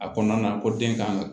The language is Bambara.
A kɔnɔna na ko den kan ka